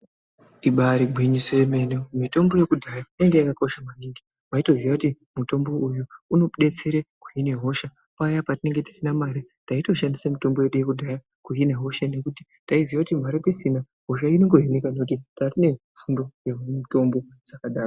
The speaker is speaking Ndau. Ibari gwinyiso yemene mitombo yekudhaya yanga yakakosha maningi waitoziya kuti mutombo uyu unodetsere kuhina hosha paya patinenge tisina mare taitoshandise mitombo yedu yekudhaya kuhina hosha nekuti taiziya kuti mari tisina hosha inongohinika nekuti tatine fundo yemutombo dzakadaro.